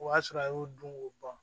O y'a sɔrɔ a y'o dun k'o ban